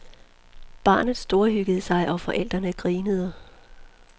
Barnet storhyggede sig, og forældrene grinede.